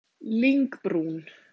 Lyngbrún